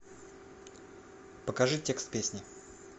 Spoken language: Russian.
покажи текст песни